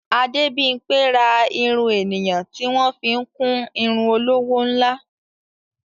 Adébímpé ra irun ènìyàn tí wọ́n fi ń kún irun olówó ńlá.